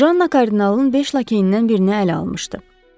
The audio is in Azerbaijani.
Janna kardinalın beş lakeyindən birini ələ almışdı.